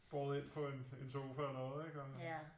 Båret ind på en sofa og noget ikke og